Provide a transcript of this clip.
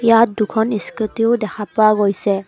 ইয়াত দুখন স্কুটীও দেখা পোৱা গৈছে।